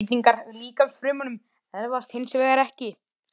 Breytingar í líkamsfrumum erfast hins vegar ekki.